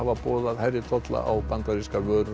boðað hærri tolla á bandarískar vörur